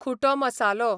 खुटो मसालो